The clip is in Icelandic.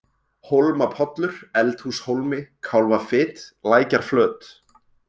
Hólmapollur, Eldhúshólmi, Kálfafit, Lækjarflöt